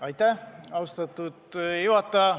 Aitäh, austatud juhataja!